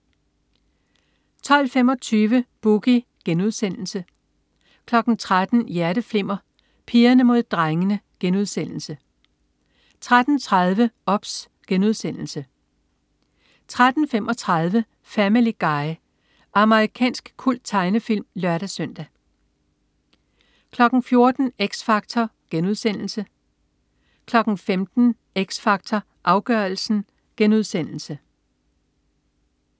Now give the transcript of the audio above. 12.25 Boogie* 13.00 Hjerteflimmer: Pigerne mod drengene* 13.30 OBS* 13.35 Family Guy. Amerikansk kulttegnefilm (lør-søn) 14.00 X Factor* 15.00 X Factor Afgørelsen*